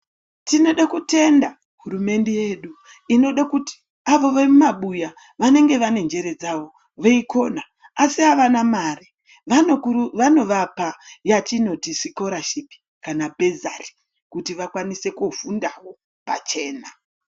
Tinode kutenda hurumende yedu inoda kuti avo vemumabuya vanenge vane njere dzavo veikona asi havana mare vanovapa yatinoti sikorashipi kana bhezari kuti vakwanise kufundawo pachena.